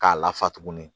K'a lafa tuguni